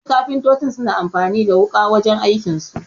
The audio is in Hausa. Wasu kafintoci suna amfani da wuƙa wajen aikin su